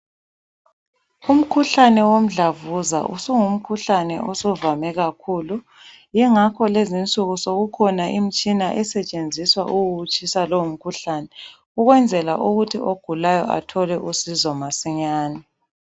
Umkhuhlane womdlavuza usungu mkhuhlane osuvame kakhulu yingakho lezinsuku sokukhona imitshina esetshenziswa ukuwutshisa lowo mkhuhlane ukwenzela ukuthi ogulayo athole usizo masinyane.